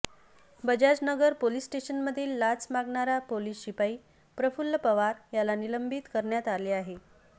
Bajaj Nagar police स्टेशनमधील लाच मागणारा पोलिस शिपाई प्रफुल्ल पवार याला निलंबित करण्यात आले आहे